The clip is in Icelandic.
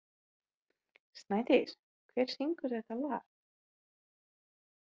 Snædís, hver syngur þetta lag?